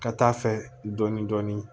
Ka taa fɛ dɔɔnin dɔɔnin